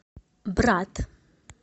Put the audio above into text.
брат